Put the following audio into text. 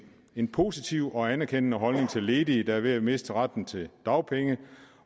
en positiv og anerkendende holdning til ledige der er ved at miste retten til dagpenge